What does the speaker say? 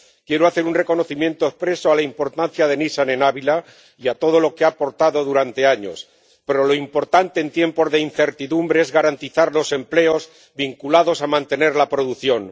Quiero hacer un reconocimiento expreso a la importancia de Nissan en Ávila y a todo lo que ha aportado durante años, pero lo importante en tiempos de incertidumbre es garantizar los empleos vinculados a mantener la producción.